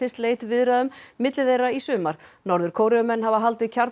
sleit viðræðum milli þeirra í sumar norður Kóreumenn hafa haldið